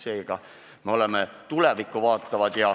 Seega me oleme tulevikku vaatavad.